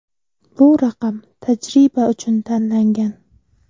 Bu raqam tajriba uchun tanlangan.